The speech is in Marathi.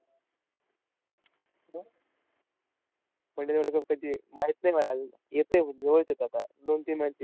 One day चा world cup कधी आहे? माहित नाही मला अजून? येतंय, जवळच येतंय आता. दोन-तीन